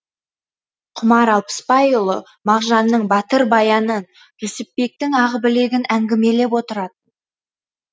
құмар алпысбайұлы мағжанның батыр баянын жүсіпбектің ақбілегін әңгімелеп отыратын